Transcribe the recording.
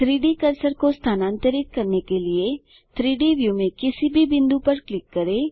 3डी कर्सर को स्थानांतरित करने के लिए 3डी व्यू में किसी भी बिंदु पर क्लिक करें